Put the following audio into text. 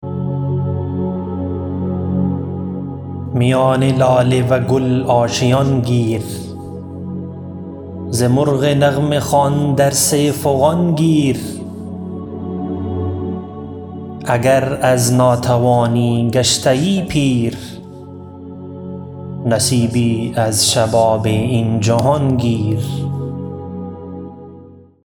میان لاله و گل آشیان گیر ز مرغ نغمه خوان درس فغان گیر اگر از ناتوانی گشته یی پیر نصیبی از شباب این جهان گیر